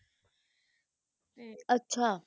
ਅੱਛਾ